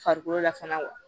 Farikolo la fana wa